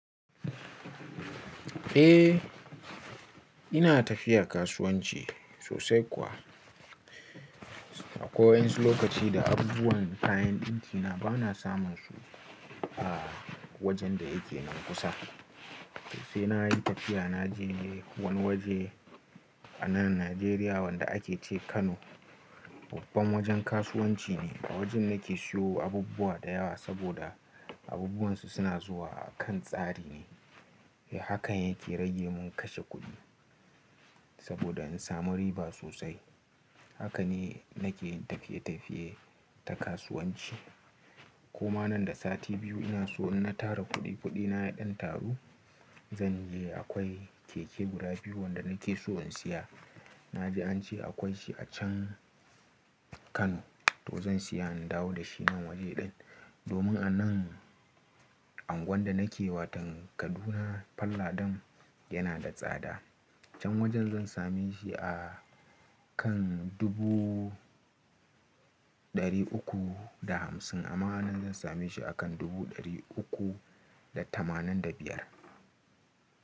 Eh, ina tafiya kasuwanci sosai kuwa. Akwai waƴansu lokaci da abubuwan kayan ɗinki na ba na samun su a wajen da yake nan kusa. Sai na yi tafiya na je wani waje a nan Najeriya wanda ake ce Kano. Babban wajen kasuwanci ne. Awajen nake siyo abubuwa da yawa saboda abubuwan su suna zuwa a kan tsari ne. Hakan yake rage mun kashe kuɗi saboda in samu riba sosai. Haka ne nake tafiye-tafiye ta kasuwanci. Kuma nan da sati biyu ina so in na tara kuɗi kuɗi na ya ɗan taru zan je akwai keke guda biyu wanda nake so in siya. Na ji an ce akwai shi a can Kano to zan siya in dawo da shi nan waje ɗin. Domin a nan anguwan da nake watan Kaduna falladan yana da tsada. Can wajen zan same shi a kan dubu ɗari uku da hamsin amma a nan zan same shi a kan dubu ɗari uku da tamanin da biyar.